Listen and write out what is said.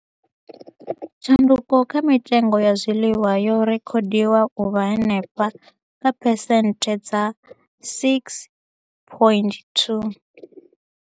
Tshanduko kha mitengo ya zwiḽiwa yo rekhodiwa u vha henefha kha phesenthe dza 6.2.